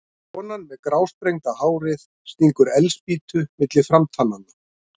Konan með grásprengda hárið stingur eldspýtu milli framtannanna.